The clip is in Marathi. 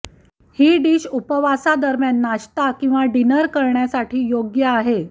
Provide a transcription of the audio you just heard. ही डिश उपवास दरम्यान नाश्ता किंवा डिनर करण्यासाठी योग्य आहे